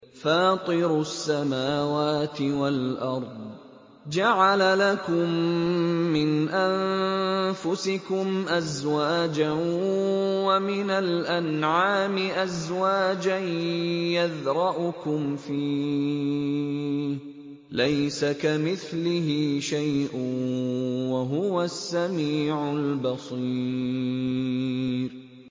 فَاطِرُ السَّمَاوَاتِ وَالْأَرْضِ ۚ جَعَلَ لَكُم مِّنْ أَنفُسِكُمْ أَزْوَاجًا وَمِنَ الْأَنْعَامِ أَزْوَاجًا ۖ يَذْرَؤُكُمْ فِيهِ ۚ لَيْسَ كَمِثْلِهِ شَيْءٌ ۖ وَهُوَ السَّمِيعُ الْبَصِيرُ